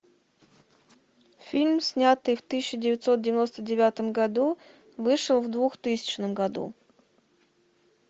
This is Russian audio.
фильм снятый в тысяча девятьсот девяносто девятом году вышел в двухтысячном году